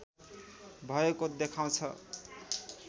भएको देखाउँछ